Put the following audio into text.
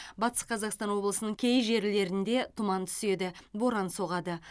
батыс қазақстан облысының кей жерлерінде тұман түседі боран соғады